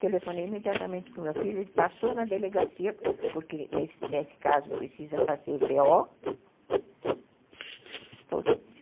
Telefonei imediatamente para o meu filho, ele passou na delegacia, porque nesse nesse caso precisa fazer bê ó